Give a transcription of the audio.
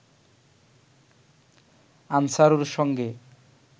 আনসারুর সঙ্গে